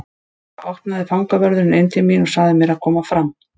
Þá opnaði fangavörðurinn inn til mín og sagði mér að koma fram.